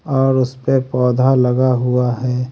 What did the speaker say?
और उसपे पौधा लगा हुआ है।